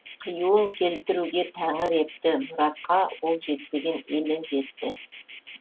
қиюын келтіруге тәңір епті мұратқа ол жетпеген елі жетті